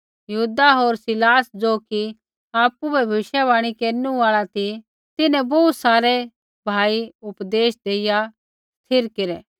यहूदा होर सीलास ज़ो कि आपु बी भविष्यवाणी केरनु आल़ा ती तिन्हैं बोहू सारै भाई उपदेश देइया स्थिर केरै